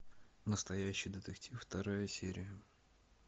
настоящий детектив вторая серия